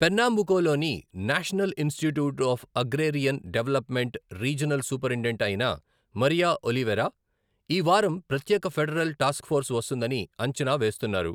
పెర్నాంబుకోలోని national institute of agrarian development regional superintendent అయిన Maria Oliveira, ఈ వారం ప్రత్యేక ఫెడరల్ టాస్క్ఫోర్స్ వస్తుందని అంచనా వేస్తున్నారు.